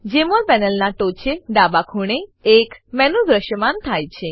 જમોલ પેનલનાં ટોંચે ડાબે ખૂણે એક મેનુ દ્રશ્યમાન થાય છે